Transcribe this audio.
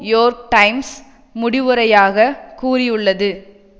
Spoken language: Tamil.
யோர்க் டைம்ஸ் முடிவுரையாக கூறியுள்ளது